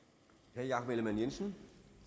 herre jacob ellemann jensen